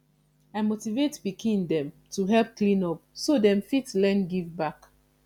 i motivate pikin dem to help clean up so dem fit learn give back